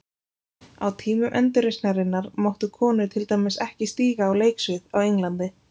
Á tímum endurreisnarinnar máttu konur til dæmis ekki stíga á leiksvið á Englandi.